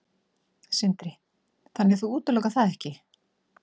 Sindri: Þannig að þú útilokar það ekki?